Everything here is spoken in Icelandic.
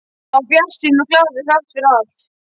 Hann var bjartsýnn og glaður þrátt fyrir allt.